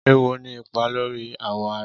Éwó ni ipà lóri àwọ̀ árá